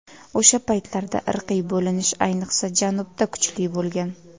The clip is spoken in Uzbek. O‘sha paytlarda irqiy bo‘linish ayniqsa janubda kuchli bo‘lgan.